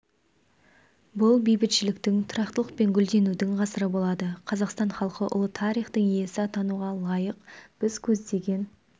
бұл бейбітшіліктің тұрақтылық пен гүлденудің ғасыры болады қазақстан халқы ұлы тарихтың иесі атануға лайық біз көздеген